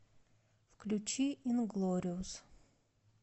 включи инглориус